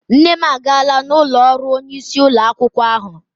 Nne m agaala n'ụlọ ọrụ onyeisi ụlọ akwụkwọ ahụ.